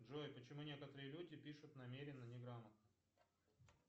джой почему некоторые люди пишут намеренно неграмотно